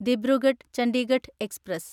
Dibrugarh Chandigarh express